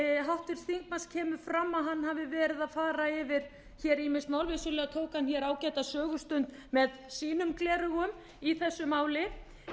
hann hafi verið að fara yfir ýmis mál vissulega tók hann ágæta sögustund með sínum gleraugum í þessu máli